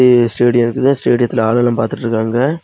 இது ஸ்டேடியம் இருக்குது ஸ்டேடியத்தில ஆளுங்கெல்லா பாத்துட்டுருக்காங்க.